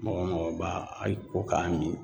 Mɔgɔ mɔgɔ b'a a min